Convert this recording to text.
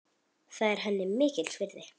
Það er henni mikils virði.